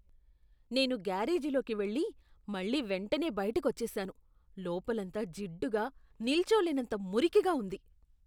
నేను గ్యారేజీలోకి వెళ్లి, మళ్లీ వెంటనే బయటకు వచ్చేసాను, లోపలంతా జిడ్డుగా నిల్చోలేనంత మురికిగా ఉంది .